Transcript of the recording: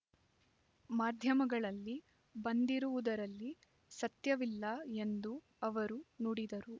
ಮಾಧ್ಯಮಗಳಲ್ಲಿ ಬಂದಿರುವುದರಲ್ಲಿ ಸತ್ಯವಿಲ್ಲ ಎಂದು ಅವರು ನುಡಿದರು